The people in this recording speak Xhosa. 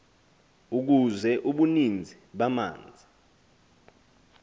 ukuze ubuninzi bamanzi